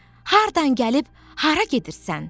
Hardan gəlib hara gedirsən?